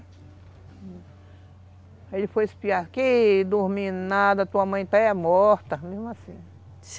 Aí ele foi espiar, que dormindo nada, tua mãe está é morta, mesmo assim.